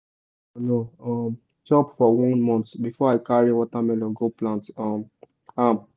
i give land manure um chop for one month before i carry watermelon go plant um am.